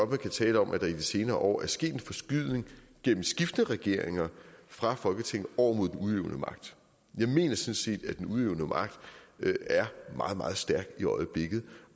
kan tale om at der i de senere år er sket en forskydning gennem skiftende regeringer fra folketinget over mod den udøvende magt jeg mener sådan set at den udøvende magt er meget meget stærk i øjeblikket